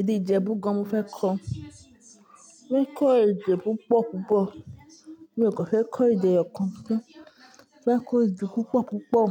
èdè Ijebu gán mo fẹ́ kọ́. Mo fẹ́ kọ́ èdè púpọ̀ púpọ̀. Mi ò kọ́ fẹ́ kọ́ èdè ọ̀kan. Mo fẹ́ kọ́ èdè púpọ̀ púpọ̀.